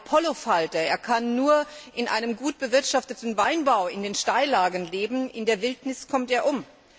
der Apollofalter Er kann nur in einem gut bewirtschafteten Weinbau in den Steillagen leben in der Wildnis kommt er um.